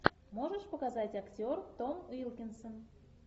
можешь показать актер том уилкинсон